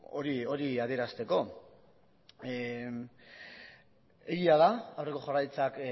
hori adierazteko egia da aurreko jaurlaritzak